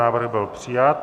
Návrh byl přijat.